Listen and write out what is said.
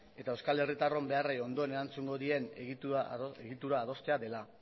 eta euskal herritarron beharrei ondoen erantzungo dien egitura adostea dela